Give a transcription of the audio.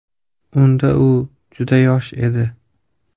Unda u juda yosh edi.